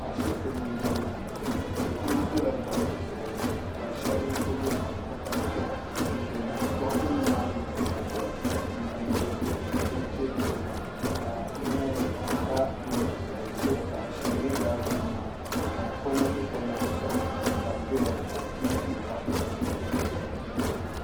ashɛbitɛ ni n bɔŋɔ maa be kuli dola garitɛ zuɣ ka shɛbi gbabi takari piɛlla doɣitɛ nim maa gbani takari piɛlla n gilin di chɛ kiriba ka doosibɛni zaɣ ʒiɛ nyɛ daasibɛni maa ka be konitɛ konitɛ shɛba ka be doya gbahira